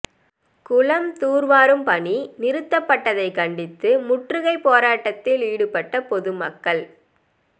குளம் தூர்வாரும் பணி நிறுத்தப்பட்டதை கண்டித்து முற்றுகை போராட்டத்தில் ஈடுபட்ட பொதுமக்கள்